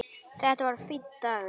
Þetta var fínn dagur.